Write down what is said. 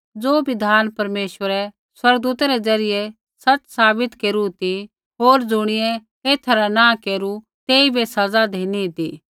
ज़ो बिधान परमेश्वरै स्वर्गदूता रै ज़रियै सच़ साबित केरू ती होर ज़ुणियै एथा रा नैंई केरू तेइबै सज़ा धिनी ती